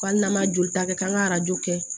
Ko hali n'an ma jolita kɛ k'an ka arajo kɛ